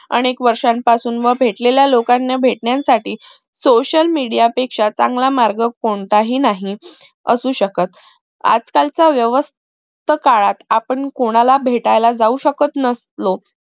अनेक वर्ष्यापासून मग भेटलेल्या लोकांना भेटण्यासाठी social media पेक्षा चांगला मार्ग कोणताही नाही असू शकत आज कालच व्यस्थ काळात आपण कोणाला भेटला जाऊ शकत नसलो